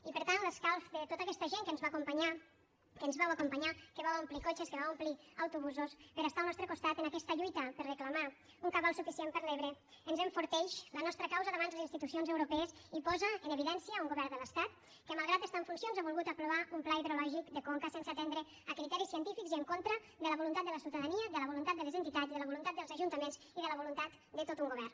i per tant l’escalf de tota aquesta gent que ens va acompanyar que ens vau acompanyar que vau omplir cotxes que vau omplir autobusos per estar al nostre costat en aquesta lluita per reclamar un cabal suficient per a l’ebre ens enforteix la nostra causa davant les institucions europees i posa en evidència un govern de l’estat que malgrat que està en funcions ha volgut aprovar un pla hidrològic de conca sense atendre a criteris científics i en contra de la voluntat de la ciutadania de la voluntat de les entitats de la voluntat dels ajuntaments i de la voluntat de tot un govern